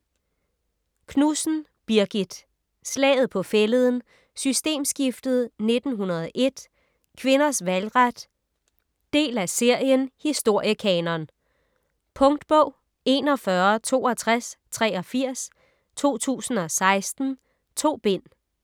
Knudsen, Birgit: Slaget på Fælleden, Systemskiftet 1901, Kvinders valgret Del af serien Historiekanon. Punktbog 416283 2016. 2 bind.